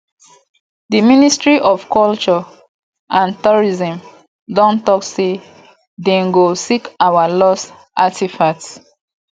the ministry of culture and tourism don talk say dey go seek our lost artefacts